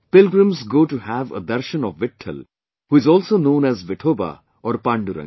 Pilgrims go to have a darshan of Vitthal who is also known as Vithoba or Pandurang